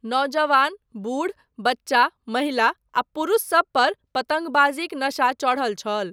नौजवान, बूढ़, बच्चा, महिला आ पुरुष सबपर पतङ्गबाजीक नशा चढ़ल छल।